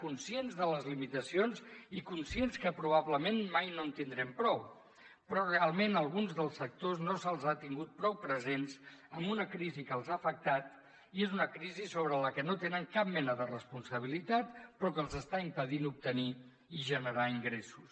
conscients de les limitacions i conscients que probablement mai no en tindrem prou però realment alguns dels sectors no se’ls ha tingut prou presents en una crisi que els ha afectat i és una crisi sobre la qual no tenen cap mena de responsabilitat però que els està impedint obtenir i generar ingressos